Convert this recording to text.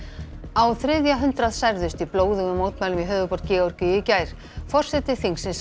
á þriðja hundrað særðust í blóðugum mótmælum í höfuðborg Georgíu í gær forseti þingsins